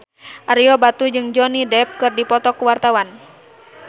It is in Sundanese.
Ario Batu jeung Johnny Depp keur dipoto ku wartawan